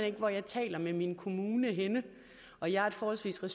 ikke hvor jeg taler med min kommune henne og jeg er et forholdsvis